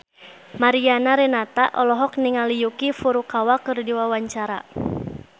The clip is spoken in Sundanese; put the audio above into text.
Mariana Renata olohok ningali Yuki Furukawa keur diwawancara